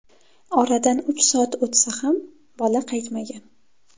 Oradan uch soat o‘tsa ham, bola qaytmagan.